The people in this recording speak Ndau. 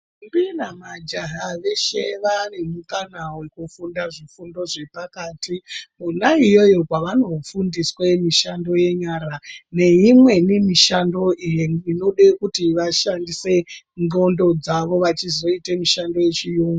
....mbi namajaha veshe vaanemukana wekufunda zvifundo zvepakati. Kona iyoyo kwavanofundiswe mishando yenyara nemweni neimweni mishonga inode kuti vashandise ndxondo dzavo vachizoite mishando yechiyungu.